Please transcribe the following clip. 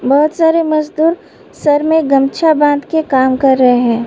बहोत सारे मजदूर सर मे गमछा बांध के काम कर रहे हैं।